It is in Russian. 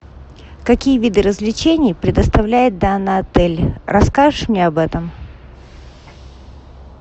какие виды развлечений предоставляет данный отель расскажешь мне об этом